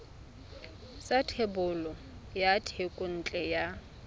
sa thebolo ya thekontle ya